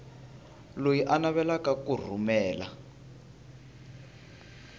loyi a navelaka ku rhumela